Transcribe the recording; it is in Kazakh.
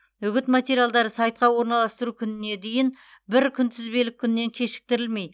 үгіт материалдары сайтқа орналастыру күніне дейін бір күнтізбелік күннен кешіктірілмей